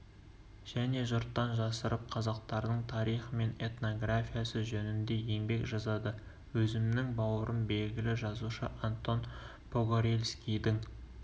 және жұрттан жасырып қазақтардың тарихы мен этнографиясы жөнінде еңбек жазады өзімнің бауырым белгілі жазушы антон погорельскийдің